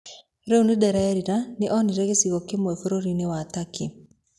Rĩu nĩ ndĩrerira Nĩ onire gĩcigo kĩmwe bũrũri-inĩ wa Turkey.